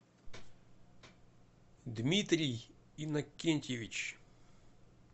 дмитрий иннокентьевич